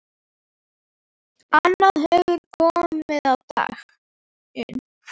Annað hefur komið á daginn.